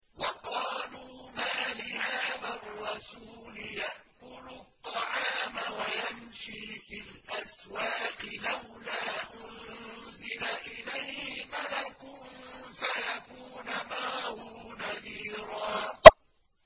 وَقَالُوا مَالِ هَٰذَا الرَّسُولِ يَأْكُلُ الطَّعَامَ وَيَمْشِي فِي الْأَسْوَاقِ ۙ لَوْلَا أُنزِلَ إِلَيْهِ مَلَكٌ فَيَكُونَ مَعَهُ نَذِيرًا